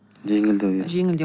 жеңілдеу иә жеңілдеу